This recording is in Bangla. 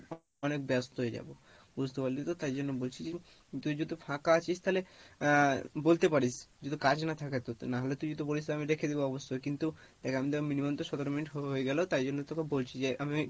অনেক ব্যাস্ত হয়ে যাবো, বুঝতে পারলি তো? তাই জন্য বলছি যে তুই যেহেতু ফাঁকা আছিস তালে আহ বলতে পারিস যদি কাজ না থাকে তোর না হলে তুই যদি বলিস আমি রেখে দেবো অবশ্যই কিন্তু দেখ আমাদের minimum তো সতেরো minute হয়ে গেলো তাই জন্য তোকে বলছি যে, আমি